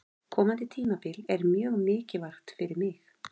Komandi tímabil er mjög mikilvægt fyrir mig.